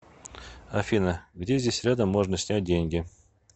афина где здесь рядом можно снять деньги